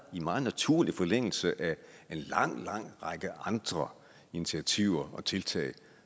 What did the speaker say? i meget naturlig forlængelse af en lang lang række andre initiativer og tiltag